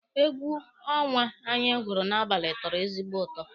Egwu ọnwa anyị gwuru n'abalị tọrọ ezigbo ụtọ